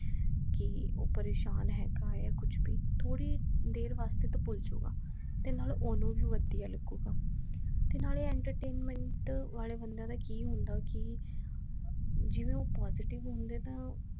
ਕਿ ਉਹ ਪ੍ਰੇਸ਼ਾਨ ਹੇਗਾ ਆ ਕੁਛ ਭੀ ਥੋੜੀ ਦੇਰ ਵਾਸਤੇ ਤਾਂ ਭੁੱਲ ਜੁਗਾ ਤੇ ਨਾਲ ਓਹਨੂੰ ਭੀ ਵਧੀਆ ਲੱਗੂਗਾ ਤੇ ਨਾਲੇ entertainment ਵਾਲੇ ਬੰਦੇ ਦਾ ਕਿ ਹੁੰਦਾ ਕਿ ਜਿਵੇਂ ਉਹ positive ਹੁੰਦੇ ਤਾਂ